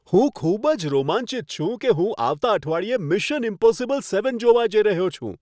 હું ખૂબ જ રોમાંચિત છું કે હું આવતા અઠવાડિયે મિશન ઈમ્પોસિબલ સેવન જોવા જઈ રહ્યો છું.